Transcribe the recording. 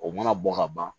O mana bɔ ka ban